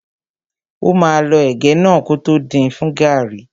Ó máa lọ ẹ̀gẹ́ náà kótó din fún gàrrí.